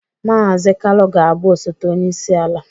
Mazị Kalu ga-abụ osote onye isi ala